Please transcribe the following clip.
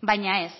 baina ez